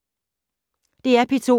DR P2